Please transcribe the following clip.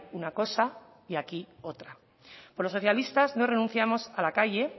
una cosa y aquí otra pero los socialistas no renunciamos a la calle